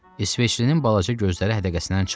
İsveçlinin balaca gözləri hədəqəsindən çıxdı.